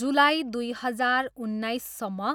जुलाई दुई हजार उन्नाइससम्म,